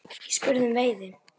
Ég spurði um veiði.